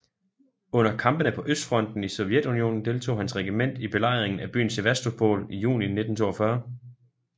Under kampene på østfronten i Sovjetunionen deltog hans regiment i belejringen af byen Sevastopol i juni 1942